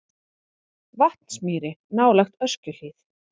Vatnsmýri nálægt Öskjuhlíð.